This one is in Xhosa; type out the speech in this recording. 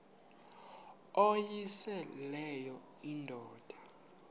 uyosele leyo indoda